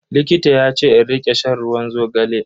Likita yace in rika shan ruwan zogale.